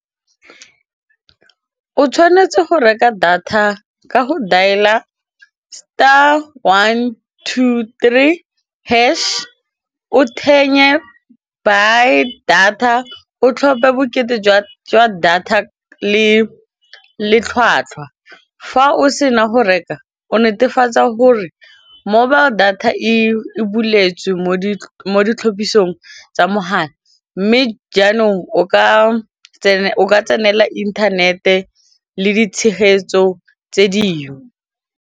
O tshwanetse go reka data ka go dial-a star one two three hash, o buy data o tlhophe bokete jwa data le tlhwatlhwa fa o sena go reka o netefatsa gore mobile data e buletsweng mo ditlhotlhopisong tsa mogala mme jaanong o ka tsenela inthanete le ditshegetso tse dingwe.